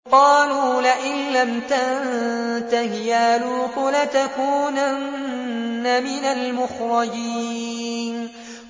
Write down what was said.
قَالُوا لَئِن لَّمْ تَنتَهِ يَا لُوطُ لَتَكُونَنَّ مِنَ الْمُخْرَجِينَ